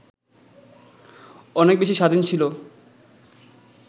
অনেক বেশি স্বাধীন ছিল